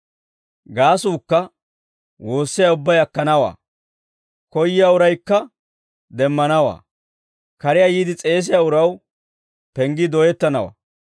Gaasuukka, woossiyaa ubbay akkanawaa; koyyiyaa uraykka demmanawaa; kariyaa yiide s'eesiyaa uraw, penggii dooyettanawaa.